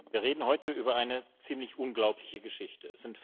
Wir reden heute über eine ziemlich unglaubliche Geschichte.